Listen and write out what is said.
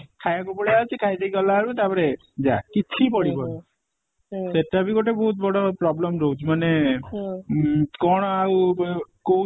ଖାଇଦେଇକି ପଳେଇଆସୁଛି ଖାଇଦେଇକି ଗଲାବେଳକୁ ଯା କିଛି ବି ପଢ଼ିଵନି ସେଟା ବି ଗୋଟେ ବହୁତ ବଡ problem ରହୁଛି ମାନେ ଉଁ କଣ ଆଉ ଵ କୋଉ